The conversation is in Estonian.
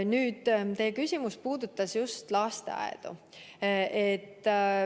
Nüüd, teie küsimus puudutas just lasteaedu.